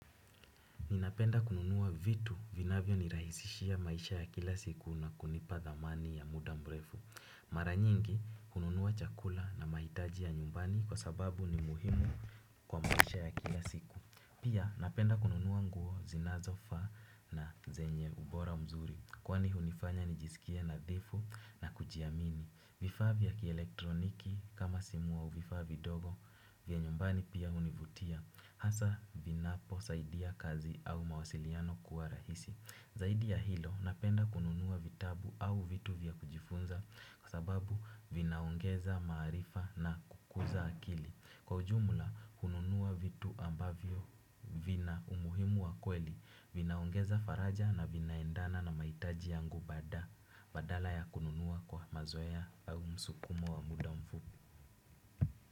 Ninapenda kununua vitu vinavyo nirahisishia maisha ya kila siku na kunipa dhamani ya muda mrefu. Mara nyingi kununua chakula na mahitaji ya nyumbani kwa sababu ni muhimu kwa maisha ya kila siku. Pia napenda kununua nguo zinazofaa na zenye ubora mzuri. Kwani hunifanya nijisikie nadhifu na kujiamini. Vifaa vya kielektroniki kama simu au vifaa vidogo vya nyumbani pia hunivutia. Hasa vinapo saidi ya kazi au mawasiliano kuwa rahisi. Zaidi ya hilo napenda kununuwa vitabu au vitu vya kujifunza. Kwa sababu vinaongeza maarifa na kukuza akili. Kwa ujumula, kununuwa vitu ambavyo vina umuhimu wa kweli. Vinaongeza faraja na vinaendana na maitaji yangu bada. Badala ya kununuwa kwa mazoea au msukumo wa muda mfupi.